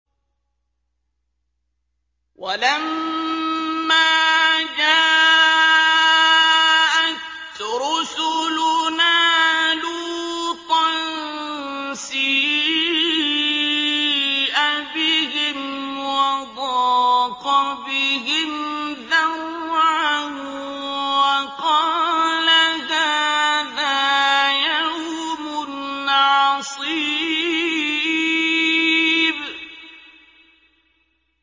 وَلَمَّا جَاءَتْ رُسُلُنَا لُوطًا سِيءَ بِهِمْ وَضَاقَ بِهِمْ ذَرْعًا وَقَالَ هَٰذَا يَوْمٌ عَصِيبٌ